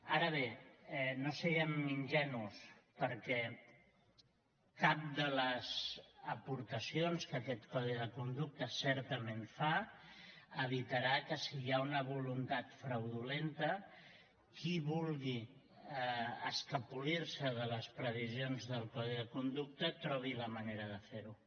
ara bé no siguem ingenus perquè cap de les aportacions que aquest codi de conducta certament fa evitarà que si hi ha una voluntat fraudulenta qui vulgui escapolir se de les previsions del codi de conducta trobi la manera de fer ho